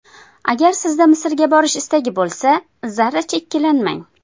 Agar sizda Misrga borish istagi bo‘lsa, zarracha ikkilanmang.